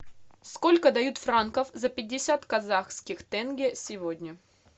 сколько дают франков за пятьдесят казахских тенге сегодня